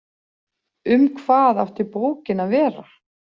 Um hvað átti bókin að vera?